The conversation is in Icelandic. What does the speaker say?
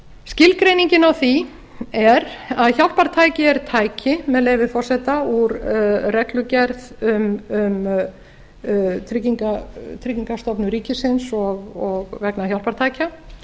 skilgreiningin á því er að hjálpartæki er tæki með leyfi forseta úr reglugerð um tryggingastofnun ríkisins og vegna hjálpartækja